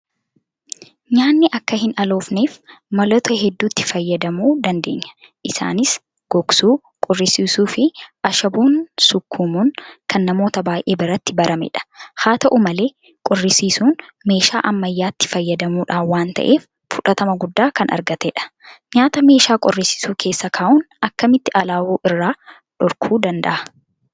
Nyaanni akka hinaloofneef maloota hedduutti fayyadamuu dandeenya. Isaanis Gogsuu, Qorrisiisuufi Ashaboon sukkuumuun kan namoota baay'ee biratti baramedha. Haa ta'u malee qorrisiisuun meeshaa ammayyaa'aatti fayyadamuudhaan waan ta'eef fudhatama guddaa kan argatedha. Nyaata meeshaa qorrisiisu keessa kaa'uun akkamitti alaa'uu irraa dhorkuu danda'a?